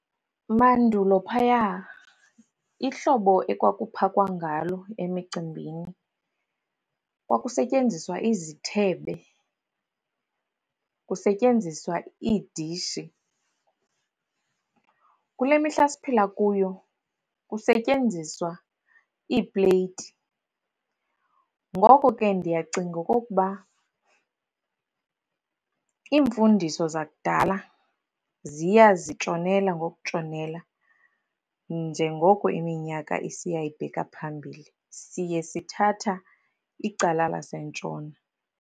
Mandulo phaya, ihlobo ekwakuphakwa ngalo emicimbini, kwakusetyenziswa izithebe, kusetyenziswa iidishi. Kule mihla siphila kuyo, kusetyenziswa iipleyiti. Ngoko ke ndiyacinga okokuba iimfundiso zakudala ziya zitshonela ngokutshonela, njengoko iminyaka isiya ibheka phambili, siye sithatha icala lasentshona.